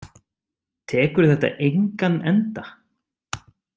Tekur þetta engan enda?